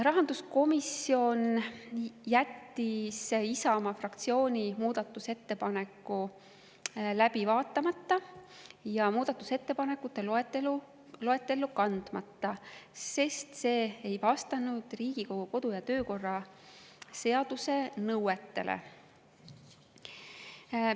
Rahanduskomisjon jättis Isamaa fraktsiooni muudatusettepaneku läbi vaatamata ja muudatusettepanekute loetellu kandmata, sest see ei vastanud Riigikogu kodu‑ ja töökorra seaduse nõuetele.